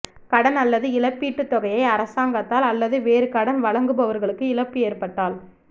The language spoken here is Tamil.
கடன் அல்லது இழப்பீட்டுத் தொகையை அரசாங்கத்தால் அல்லது வேறு கடன் வழங்குபவர்களுக்கு இழப்பு ஏற்பட்டால்